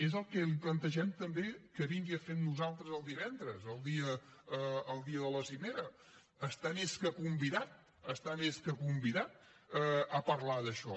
és el que li plantegem també que vingui a fer amb nosaltres divendres el dia de la cimera està més que convidat està més que convidat a parlar d’això